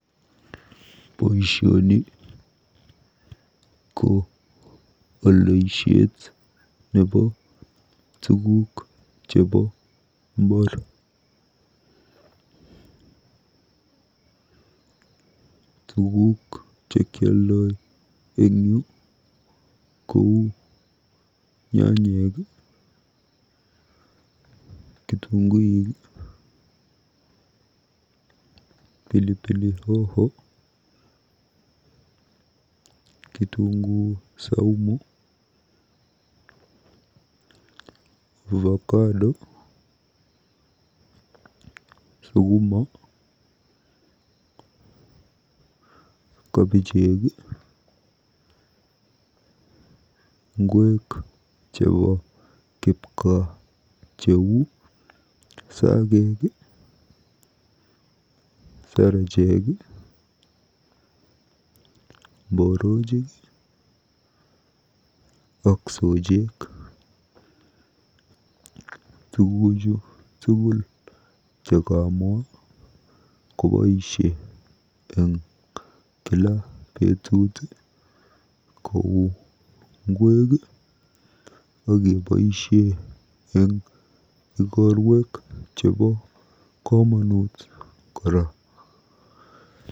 Boisioni ko oldoishet nebo tuguk cxhebo mbaar. Tuguuk chekioldoi eng yu kou nyanyek, kitunguik, pilipili hoho, kitunguu saumu'ovacado'sukiuma, kabijek ak ngweek chebo kipgaa cheu sagek, sarajek, mborojik ak sojeek. Tuguchu tugul chekamwaa koboisie eng kila betut kou ngweek akeboisie eng ikorwek chebo komonut mising.